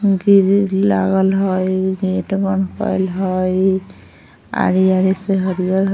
गिरिल लागल हेय हेय आरी-आरी से हरिअर--